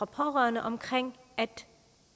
pårørende om